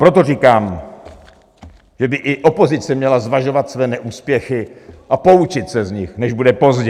Proto říkám, že by i opozice měla zvažovat své neúspěchy a poučit se z nich, než bude pozdě.